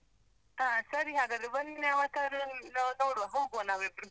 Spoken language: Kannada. ಹಾ ಸರಿ ಹಾಗಾದ್ರೆ, ಒಂದಿನ ಯಾವತ್ತಾದ್ರೂ ನಾವು ನೋಡುವ, ಹೋಗ್ವಾ ನಾವಿಬ್ರೂ.